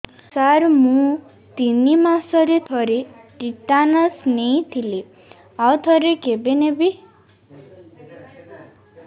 ସାର ମୁଁ ତିନି ମାସରେ ଥରେ ଟିଟାନସ ନେଇଥିଲି ଆଉ ଥରେ କେବେ ନେବି